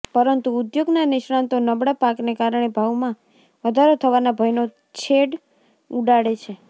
પરંતુ ઉદ્યોગના નિષ્ણાતો નબળા પાકને કારણે ભાવમાં વધારો થવાના ભયનો છેદ ઉડાડે છે